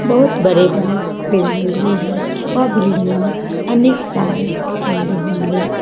बहुत बड़े-बड़े बिल्डिंग भी है वह बिल्डिंग में अनेक सारे कमरे होंगे।